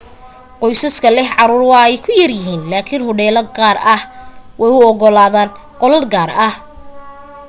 qoysaska leh caruur waa ay ku yar yahiin laakin hodheelo qaar way u ogolaadaan qolal gaar ah